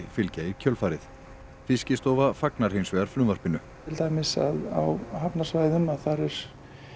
fylgja í kjölfarið Fiskistofa fagnar hins vegar frumvarpinu til dæmis á hafnarsvæðum þá er